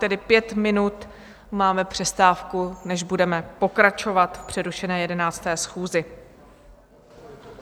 Tedy pět minut máme přestávku, než budeme pokračovat v přerušené 11. schůzi.